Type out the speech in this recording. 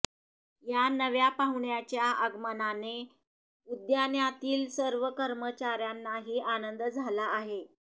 या नव्या पाहुण्याच्या आगमनाने उद्यान्यातील सर्व कर्मचाऱ्यांनाही आनंद झाला आहे